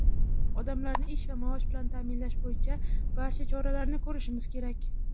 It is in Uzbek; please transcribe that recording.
Odamlarni ish va maosh bilan ta’minlash bo‘yicha barcha choralarni ko‘rishimiz kerak.